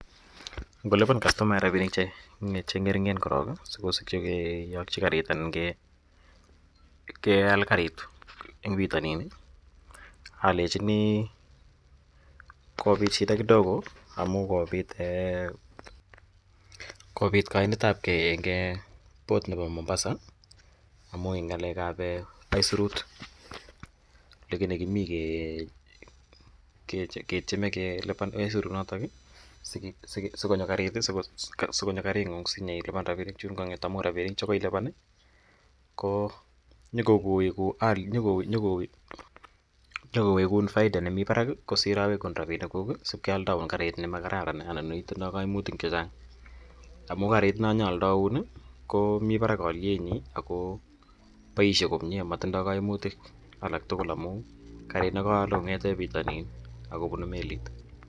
Ngolipan kastomayat rapinik che ng'ering'en korok si kopit kiyakchi karit ana keal karit eng' pitanin alechini kopit shida kidogo amu kopit kaiinet ap gei eng' Port nepo Mombasa, amu eng' nga'lek ap aisirut lakini kimi ketyeme kelipan aisurenotok i, si konyo karig'ung' si nyilipan rapinik chun kang'et amu nyukowegun faida nemi parak kosir awekun rapinikuk asipkealdaun karit ne ma kararan anan lo ne tindai kaimutik che chang' amu kariit ne nya aldaun komi parak alietnyi ako paishe komye matindai kaimutik alak tugul amu kariit ne kaale kong'ete pitanin ako punu melit.